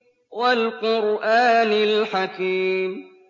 وَالْقُرْآنِ الْحَكِيمِ